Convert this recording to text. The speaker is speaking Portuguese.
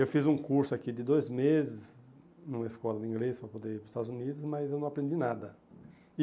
Eu fiz um curso aqui de dois meses numa escola de inglês para poder ir para os Estados Unidos, mas eu não aprendi nada. E